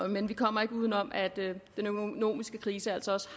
men vi kommer ikke uden om at den økonomiske krise altså også